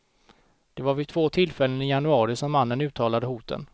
Det var vid två tillfällen i januari som mannen uttalade hoten.